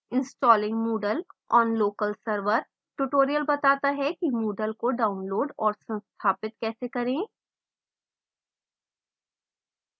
installing moodle on local server tutorial बताता है कि moodle को download और संस्थापित कैसे करें